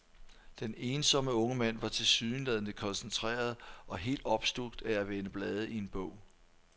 Den ensomme unge mand var tilsyneladende koncentreret og helt opslugt af at vende blade i en bog.